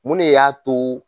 Mun de y'a to